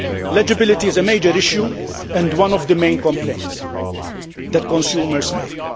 Legibility is a major issue and one of the main complaints that consumers make.